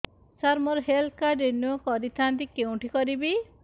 ସାର ମୋର health card renew କରିଥାନ୍ତି କେଉଁଠି କରିବି